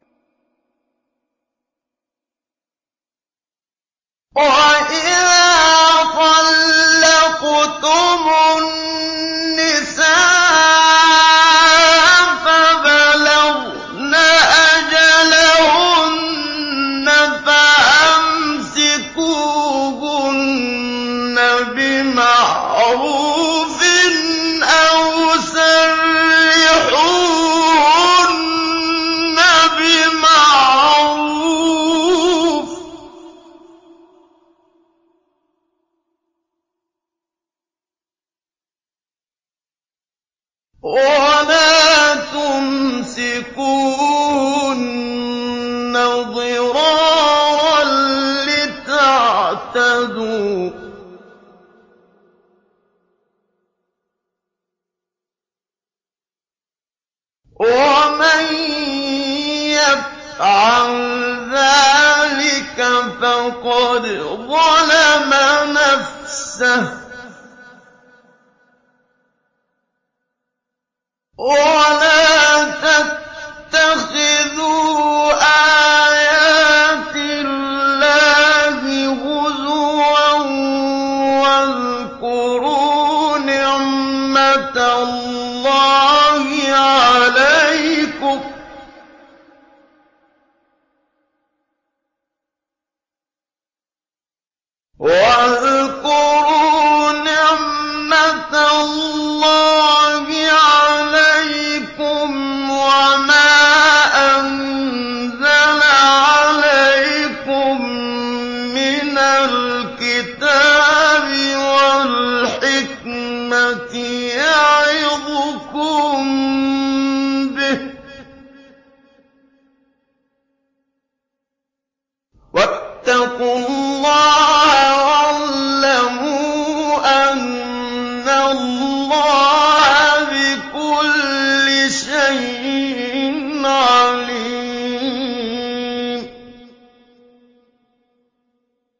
وَإِذَا طَلَّقْتُمُ النِّسَاءَ فَبَلَغْنَ أَجَلَهُنَّ فَأَمْسِكُوهُنَّ بِمَعْرُوفٍ أَوْ سَرِّحُوهُنَّ بِمَعْرُوفٍ ۚ وَلَا تُمْسِكُوهُنَّ ضِرَارًا لِّتَعْتَدُوا ۚ وَمَن يَفْعَلْ ذَٰلِكَ فَقَدْ ظَلَمَ نَفْسَهُ ۚ وَلَا تَتَّخِذُوا آيَاتِ اللَّهِ هُزُوًا ۚ وَاذْكُرُوا نِعْمَتَ اللَّهِ عَلَيْكُمْ وَمَا أَنزَلَ عَلَيْكُم مِّنَ الْكِتَابِ وَالْحِكْمَةِ يَعِظُكُم بِهِ ۚ وَاتَّقُوا اللَّهَ وَاعْلَمُوا أَنَّ اللَّهَ بِكُلِّ شَيْءٍ عَلِيمٌ